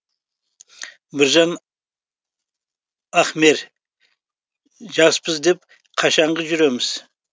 біржан ахмер жаспыз деп қашанғы жүреміз